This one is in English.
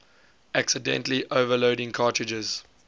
accidentally overloading cartridges